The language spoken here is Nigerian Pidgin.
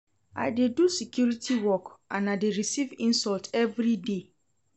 I dey do security work and I dey receive insult everyday.